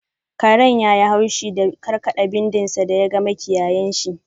Karen yayi haushi da karkada bindin sa da ya ga makiyayinshi.